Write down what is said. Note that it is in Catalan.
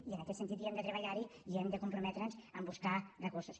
i en aquest sentit hem de treballar i hem de comprometre’ns en buscar recursos